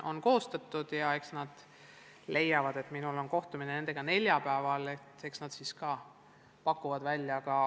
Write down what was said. Minul on nendega kohtumine neljapäeval, eks nad siis pakuvad välja.